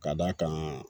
Ka d'a kan